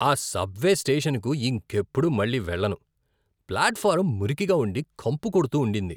ఆ సబ్వే స్టేషన్కు ఇంకెప్పుడూ మళ్ళీ వెళ్ళను. ప్లాట్ఫారం మురికిగా ఉండి, కంపు కొడుతూండింది.